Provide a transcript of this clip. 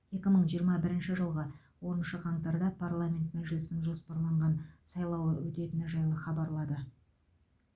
екі мың жиырма бірінші жылғы оныншы қаңтарда парламент мәжілісінің жоспарланған сайлауы өтетіні жайлы хабарлады